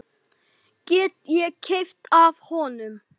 Get ég keypt af honum?